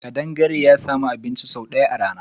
Kadangare ya sami abun ci sau daya a rana.